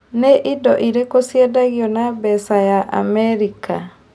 Nĩ indo irĩkũ ciendagio na mbeca ya America?